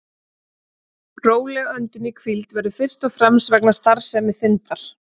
Róleg öndun í hvíld verður fyrst og fremst vegna starfsemi þindar.